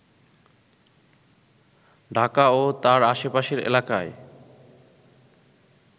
ঢাকা ও তার আশেপাশের এলাকায়